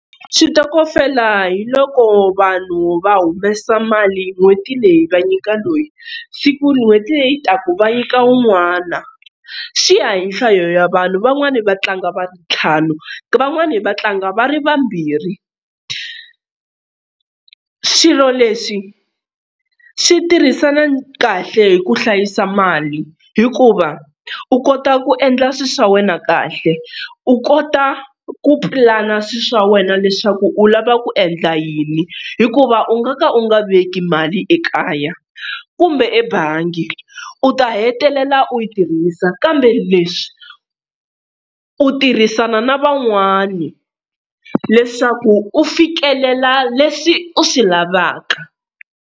Xitokofela hi loko vanhu va humesa mali n'hweti leyi va nyika loyi siku n'hweti leyi taka va nyika un'wana swi ya hi nhlayo ya vanhu van'wana va tlanga va ri ntlhanu van'wana va tlanga va ri vambirhi. Swilo leswi swi tirhisana kahle hi ku hlayisa mali hikuva u kota ku endla swilo swa wena kahle, u kota ku pulana swilo swa wena leswaku u lava ku endla yini hikuva u nga ka u nga veki mali ekaya kumbe ebangi u ta hetelela u yi tirhisa kambe leswi u tirhisana na van'wani leswaku u fikelela leswi u swi lavaka.